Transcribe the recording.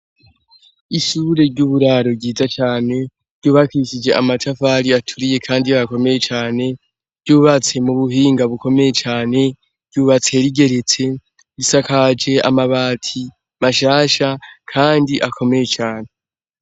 Ishure ry'uburaro ryiza cane ryubakishije amatafali aturiye kandi akomeye cane ryubatse mu buhinga bukomeye cane ryubatse rigeretse risakaje amabati mashasha kandi akomeye cane.